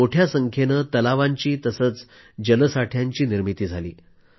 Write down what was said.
देशात मोठ्या संख्येने तलावांची तसंच जलसाठ्यांची निर्मिती झाली